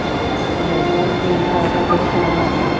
ਹੋਰ ਸਾਰੇ ਠੀਕ ਠਾਕ ਆ, ਤੂੰ ਸੁਣਾ ਆਪਣਾ।